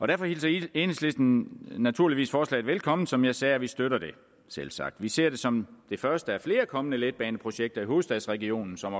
derfor hilser enhedslisten naturligvis forslaget velkommen som jeg sagde og vi støtter det selvsagt vi ser det som det første af flere kommende letbaneprojekter i hovedstadsregionen som